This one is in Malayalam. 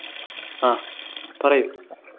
ആഹ് പറയു